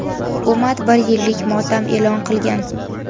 Hukumat bir yillik motam e’lon qilgan.